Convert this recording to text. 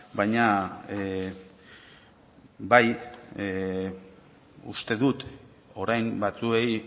baina bai uste dut orain batzuei